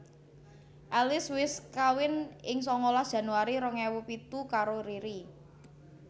Alice wis kawin ing sangalas Januari rong ewu pitu karo Riri